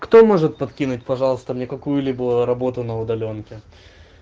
кто может подкинуть пожалуйста мне какую-либо работу на удалёнке